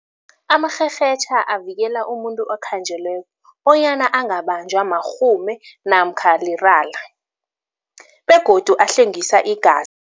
Amarherhetjha avikela umuntu okhanjelweko bonyana angabanjwa marhume namkha lirala begodu ahlwengisa igazi.